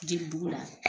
Jeli buru la